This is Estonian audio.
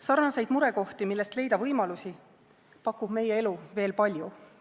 Samasuguseid murekohti, millest leida võimalusi, pakub meie elu veel palju.